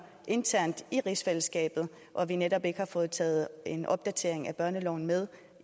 internt i rigsfællesskabet og at vi netop ikke har fået en opdatering af børneloven med